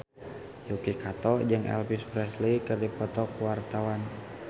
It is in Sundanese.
Yuki Kato jeung Elvis Presley keur dipoto ku wartawan